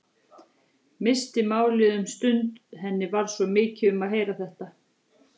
Missti málið um stund, henni varð svo mikið um að heyra þetta.